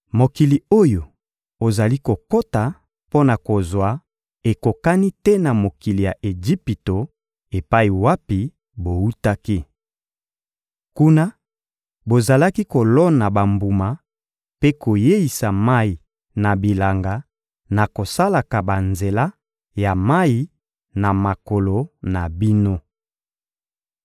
Mokili oyo ozali kokota mpo na kozwa ekokani te na mokili ya Ejipito epai wapi bowutaki. Kuna, bozalaki kolona bambuma mpe koyeisa mayi na bilanga na kosalaka banzela ya mayi na makolo na bino.